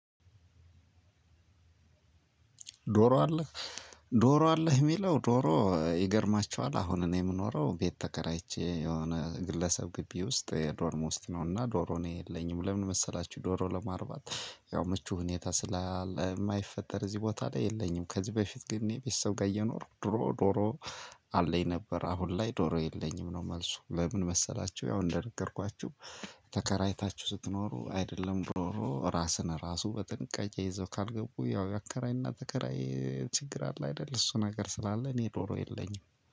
ዶሮ አለህ? ዶሮ አለህ የሚለው ዶሮ ይገርማቸዋል። አሁን እኔ የምኖረው ቤት ተከራይቼ የሆነ ግለሰብ ግቢ ውስጥ ዶርም ውስጥ ነው። እና ዶሮ እኔ የለኝም። ለምን መሰላችሁ? ዶሮ ለማርባት ያው ምቹ ሁኔታ ስላለ የማይፈጠር እዚህ ቦታ ላይ የለኝም። ከዚህ በፊት ግን እኔ ቤተሰብ ጋር እየኖርኩ ድሮ ዶሮ አለኝ ነበር። አሁን ላይ ዶሮ የለኝም ነው መልሱ። ለምን መሰላቸው? ያው እንደነገርኳችሁ። ተከራይታችሁ ስትኖሩ አይደለም ዶሮ ራስን ራሱ በጠንቅቄ ይዘው ካልገቡ ያው አከራይና ተከራይ ችግር አለ አይደል? እሱ ነገር ስላለ እኔ ዶሮ የለኝም።